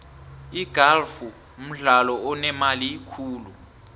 igalfu mdlalo onemali khulu